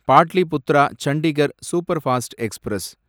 Pataliputra Chandigarh superfast express